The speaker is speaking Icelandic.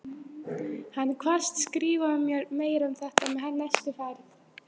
Hann kvaðst skrifa mér meira um þetta með næstu ferð.